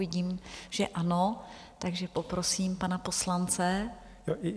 Vidím, že ano, takže poprosím pana poslance.